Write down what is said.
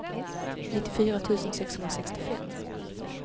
nittiofyra tusen sexhundrasextiofem